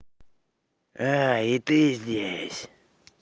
и ты здесь